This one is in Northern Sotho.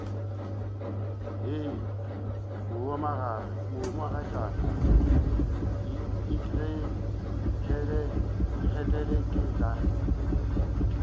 hei mohumagatšana ikgethele ke tla